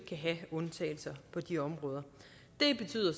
have undtagelser på de områder det betyder